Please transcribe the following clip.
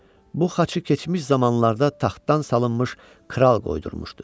Bu xaçı keçmiş zamanlarda taxtdan salınmış kral qoydurmuşdu.